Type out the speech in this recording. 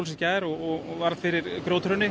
í gær og varð fyrir grjóthruni